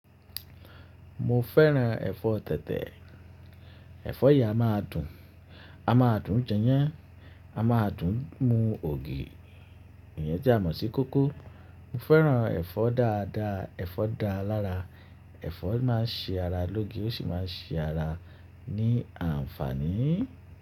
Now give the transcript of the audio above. Mo fẹ́ràn ẹ̀fọ́ tẹ̀tẹ̀, ẹ̀fọ́ yìí a máa dùn, a máa dùn jẹyán, a máa dùn mu ògì, ìyẹn tí a mọ̀ sí kókó. Mo fẹ́ràn ẹ̀fọ́ dáadáa, ẹ̀fọ́ dáa lára, ẹ̀fọ́ máa ń ṣe ara lóge ó sì máa ń ṣe ara ní àǹfààní.